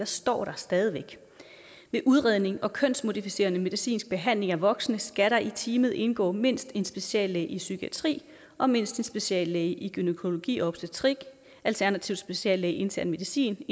står der stadig væk ved udredning og kønsmodificerende medicinsk behandling af voksne skal der i teamet indgå mindst en speciallæge i psykiatri og mindst en speciallæge i gynækologi og obstetrik alternativt en speciallæge i intern medicin